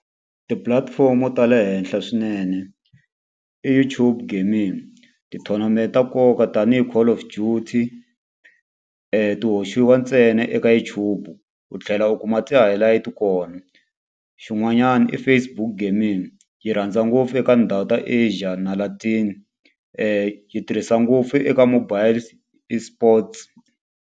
Tipulatifomo ta le henhla swinene i YouTube gaming. Ti-tournament ta nkoka tanihi Call of Duty ti hoxiwa ntsena eka YouTube, u tlhela u kuma ti highlight-i kona. Xin'wanyana i Facebook gaming, yi rhandza ngopfu eka ndhawu ta Asia na Latin yi tirhisa ngopfu eka mobile e-sports.